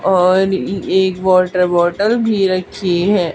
और एक water bottle भी रखी है।